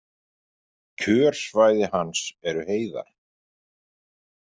Kjörsvæði hans eru heiðar.